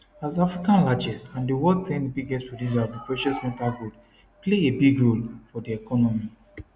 as africa largest and di world 10th biggest producer of di precious metal gold play a big role for di economy